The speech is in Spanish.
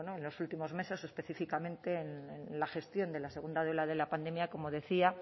bueno en los últimos meses o específicamente en la gestión de la segunda ola de la pandemia como decía